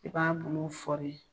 I b'a bolo fɔɔri.